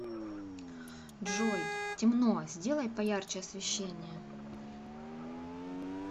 джой темно сделай поярче освещение